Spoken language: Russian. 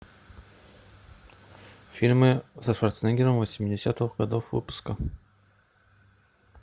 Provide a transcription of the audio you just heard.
фильмы со шварценеггером восьмидесятых годов выпуска